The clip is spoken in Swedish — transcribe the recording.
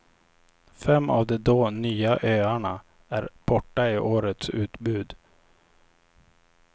Fem av de då nya öarna är borta i årets utbud.